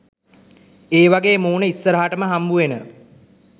ඒවගේ මූණ ඉස්සරහටම හම්බුවෙන